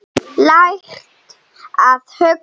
Lært að hugsa.